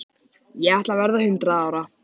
Ég ætla að verða hundrað ára.